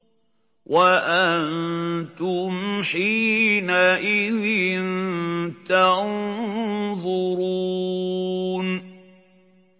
وَأَنتُمْ حِينَئِذٍ تَنظُرُونَ